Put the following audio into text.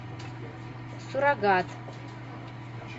суррогат